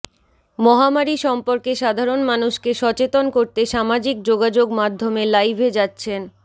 মহামারি সম্পর্কে সাধারণ মানুষকে সচেতন করতে সামাজিক যোগাযোগ মাধ্যমে লাইভে যাচ্ছেন